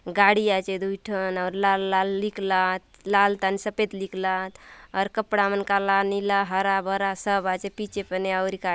गाड़ी आचे दुय ठन आउर लाल लाल लिखला आत लाल थाने सफेद लिखला आत आऊर कपड़ा मन काला नीला हरा-भरा सब आचे पीछे पने आऊरी काय --